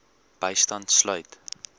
bystand sluit